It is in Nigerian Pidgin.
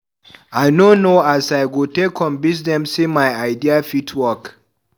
I no know as I go take convince dem sey my idea fit work.